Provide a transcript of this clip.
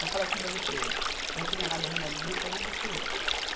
Para falar assim para você, eu já tinha dado remédio de gripe e eu nunca curei.